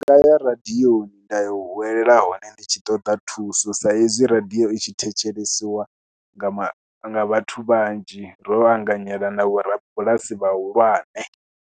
Ndi nga ya radioni nda ya u huwela hone ndi tshi ṱoḓa thuso sa hezwi radio i tshi thetshelesiwa nga vhathu vhanzhi, ro vha anganyela na vhorabulasi vhahulwane.